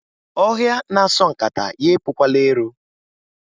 Ọhịa na-asọ nkataya epukwala ero.